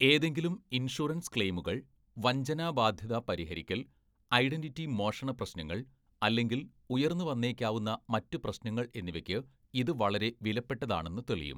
ഏതെങ്കിലും ഇൻഷുറൻസ് ക്ലെയിമുകൾ, വഞ്ചന ബാധ്യത പരിഹരിക്കൽ, ഐഡൻ്റിറ്റി മോഷണ പ്രശ്നങ്ങൾ, അല്ലെങ്കിൽ ഉയർന്നുവന്നേക്കാവുന്ന മറ്റ് പ്രശ്നങ്ങൾ എന്നിവയ്ക്ക് ഇത് വളരെ വിലപ്പെട്ടതാണെന്ന് തെളിയും.